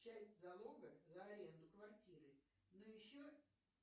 часть залога за аренду квартиры но еще